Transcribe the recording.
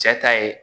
Cɛ ta ye